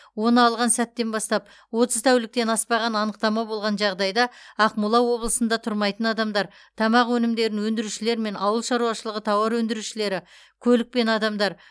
оны алған сәттен бастап отыз тәуліктен аспаған анықтама болған жағдайда ақмола облысында тұрмайтын адамдар тамақ өнімдерін өндірушілер мен ауыл шаруашылығы тауар өндірушілері көлік пен адамдар